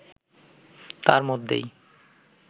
তার মধ্যেই